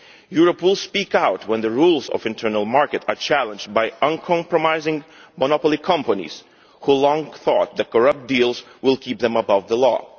Europe will speak out when the rules of the internal market are challenged by uncompromising monopoly companies which long thought that corrupt deals would keep them above the law.